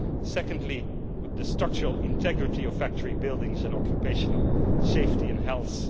Second, the structural integrity of factory buildings and occupational safety and health